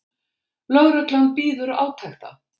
Lögreglan bíður átekta